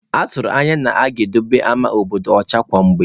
A tụrụ anya na-aga edobe ama obodo ọcha kwa mgbe.